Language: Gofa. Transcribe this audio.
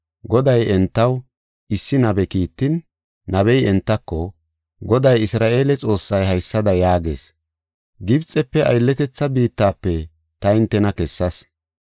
Goday entaw issi nabe Kiittin, nabey entako, “Goday Isra7eele Xoossay haysada yaagees; Gibxefe, aylletetha biittafe ta hintena kessas.